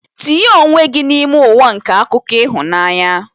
Tinye onwe gị n'ime ụwa nke akụkọ ịhụnanya.